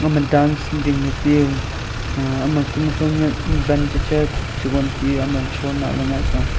ma dance dingley tiu uh ama kuma khunyak ban checha chubong tiu ame shon hahley ngaipa.